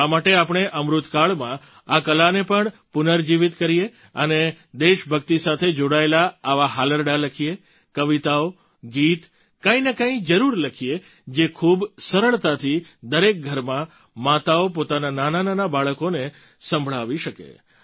તો શા માટે આપણે અમૃતકાળમાં આ કલાને પણ પુનર્જીવિત કરીએ અને દેશભક્તિ સાથે જોડાયેલાં આવાં હાલરડાં લખીએ કવિતાઓ ગીત કંઈ ને કંઈ જરૂર લખીએ જે ખૂબ સરળતાથી દરેક ઘરમાં માતાઓ પોતાનાં નાનાનાનાં બાળકોને સંભળાવી શકે